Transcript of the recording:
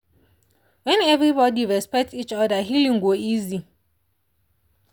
when everybody respect each other healing go easy.